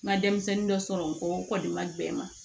N ka denmisɛnnin dɔ sɔrɔ n kɔ o kɔni ma bɛn n ma